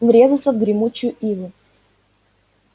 врезаться в гремучую иву